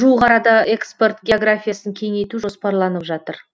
жуық арада экспорт географиясын кеңейту жоспарланып жатыр